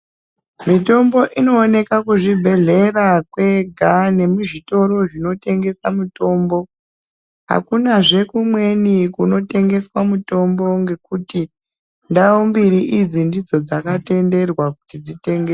Mitombo inooneka kuzvibhedhlera kwega nekuzvitoro zvinotengeswa mitombo akuna zvekumweni kunotengeswa mitombo ngekuti ndau mbiri idzi ndidzo dzakatenderwa kuti dzitengese.